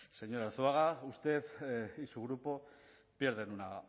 señor arzuaga usted y su grupo pierden una